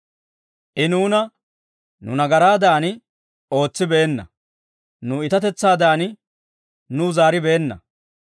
I nuuna nu nagaraadan ootsibeenna; nu iitatetsaadan nuw zaaribeenna.